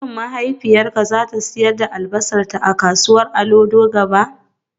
Shin mahaifiyarka za ta sayar da albasarta a kasuwar Olodo gaba?